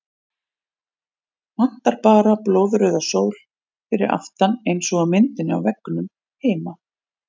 Vantar bara blóðrauða sól fyrir aftan eins og á myndinni á veggnum heima!